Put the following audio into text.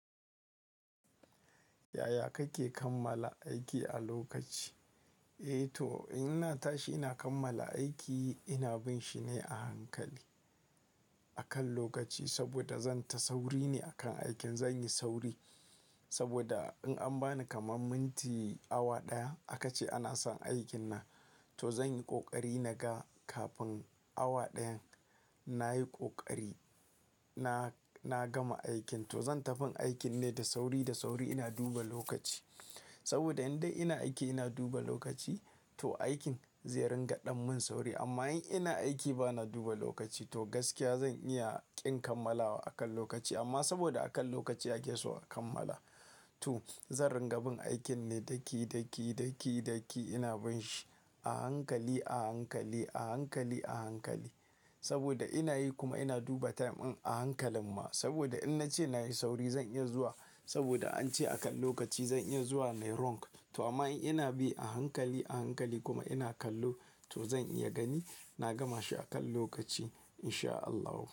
Yaya kake kammala aiki a lokaci? Eh to, in na tashi ina kammala aiki ina binshi ne a hankali akan lokaci saboda zan ta sauri ne akan aikin. Zanyi sauri saboda in an bani kamar minti awa ɗaya aka ce ana son aikin na, to zanyi ƙoƙari naga kafin awa ɗayan nayi kokari na, na gama aikin. To zan tafi aikin ne da sauri, da sauri ina duba lokaci saboda in dai ina aiki ina duba lokaci to aikin zai ringa ɗan mun sauri amma in ina aiki ba na duba lokaci to gaskiya zan iya ƙin kammalawa akan lokaci amma saboda akan lokaci ake so a kammala. To zan ringa bin aikin ne daki, daki, daki, daki ina binshi a hankali, a hankali, a hankali, a hankali saboda inayi kuma ina duba time in a hankalin ma saboda in nace nayi sauri zan iya zuwa saboda ance akan lokaci zan iya zuwa nai wrong. To amma in ina bi a hankali, a hankali kuma ina kallo to zan iya gani na gama shi akan lokaci in sha Allahu.